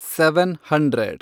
seven hundred